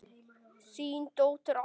Þín dóttir Alda.